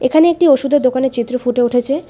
এখানে একটি ওষুধের দোকানের চিত্র ফুটে উঠেছে।